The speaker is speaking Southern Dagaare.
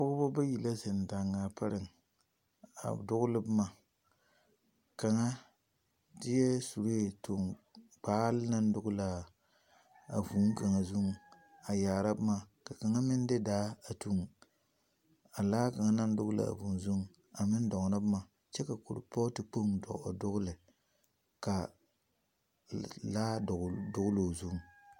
Pɔgeba bayi la zeŋ daaŋaa pare a dogele boma, kaŋa deɛ suree toŋ gbaale naŋ dogele a vūū kaŋa zuŋ a yaara boma ka kaŋa meŋ de daa a tuŋ a laa kaŋa naŋ dogele a vūū zuiŋ a meŋ dɔɔnɔ boma kyɛ ka kuripɔɔte dogele ka laa dɔɔ dogili o zuŋ.